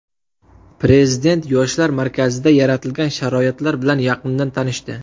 Prezident Yoshlar markazida yaratilgan sharoitlar bilan yaqindan tanishdi.